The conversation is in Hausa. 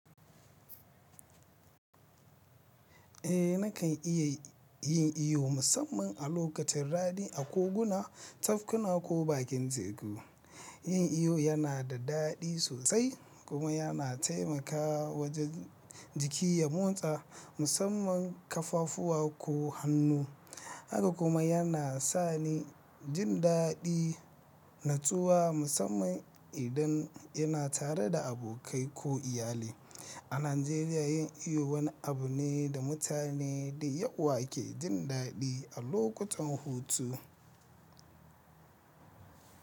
Eh nakan iya yin iyo musamman a lokacin rani a koguna, tafkuna ko bakin teku. Yin iyo yana da daɗi sosai kuma yana taimakawa wajen jiki ya motsa musamman kafafuwa ko hannu. Haka kuma yana sani jin daɗi natsuwa musamman idan yana tare da abokai ko iyali. A Najeriya yin iyo wani abu ne da mutane da yawa ke jin daɗi a lokutan hutu.